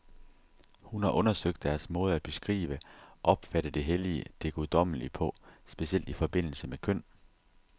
Hun har undersøgt deres måde at beskrive, opfatte det hellige, det guddommelige på, specielt i forbindelse med køn.